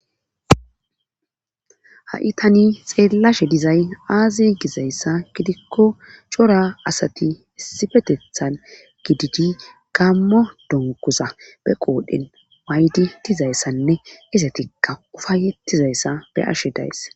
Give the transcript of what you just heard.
Ha,i tani xeellashe dizay aaze gizayssa gidikko cora asati issifetethan gididi gammo donkuza be qoodhen waaydi dizayssanne isetikka ufayetizayssa be ashe days